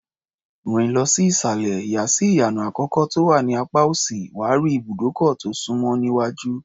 Rìn lọ sí ìsàlẹ̀, yà sí ìyànà àkọ́kọ́ tó wà ní apá òsì, wà á rí ibùdókọ̀ tó súnmọ́ níwájú.